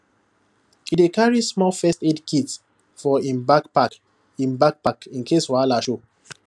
e dey carry small first aid kit for im backpack im backpack in case wahala show